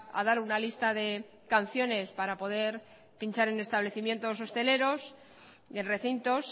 a dar una lista de canciones para poder pinchar en establecimientos hosteleros y en recintos